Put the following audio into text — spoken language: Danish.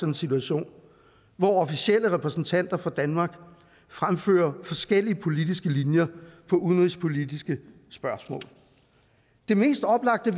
en situation hvor officielle repræsentanter for danmark fremfører forskellige politiske linjer på udenrigspolitiske spørgsmål det mest oplagte